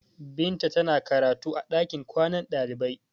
Binta tana karatu a ɗakin kwanan ɗalibai.